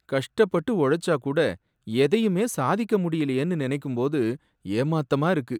கஷ்டப்பட்டு உழைச்சா கூட எதையுமே சாதிக்க முடியலயேனு நனைக்கும்போது ஏமாத்தமா இருக்கு.